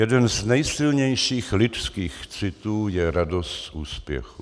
Jeden z nejsilnějších lidských citů je radost z úspěchu.